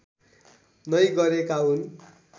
नै गरेका हुन्